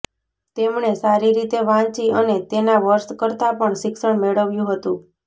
તેમણે સારી રીતે વાંચી અને તેના વર્ષ કરતાં પણ શિક્ષણ મેળવ્યું હતું